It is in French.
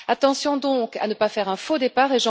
Attention donc à ne pas faire un faux départ.